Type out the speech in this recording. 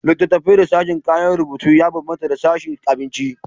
Littattafai da sashin kayan rubutu ya bambanta da sashin abinci.